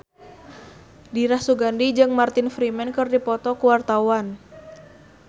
Dira Sugandi jeung Martin Freeman keur dipoto ku wartawan